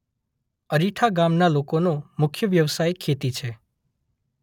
અરીઠા ગામના લોકોનો મુખ્ય વ્યવસાય ખેતી છે.